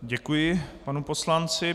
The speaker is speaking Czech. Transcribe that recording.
Děkuji panu poslanci.